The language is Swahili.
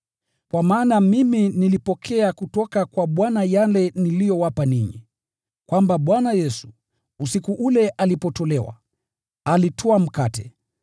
Kwa maana mimi nilipokea kutoka kwa Bwana yale niliyowapa ninyi, kwamba Bwana Yesu, usiku ule aliposalitiwa, alitwaa mkate,